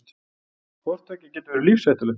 Hvort tveggja getur verið lífshættulegt.